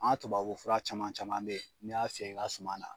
An tubabu fura caman caman be ye, n'i y'a fiyɛ i ka suma na